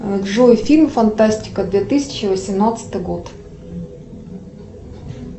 джой фильм фантастика две тысячи восемнадцатый год